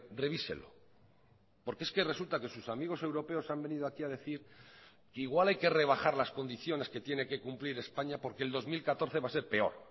revíselo porque es que resulta que sus amigos europeos han venido aquí a decir que igual hay que rebajar las condiciones que tiene que cumplir españa porque el dos mil catorce va a ser peor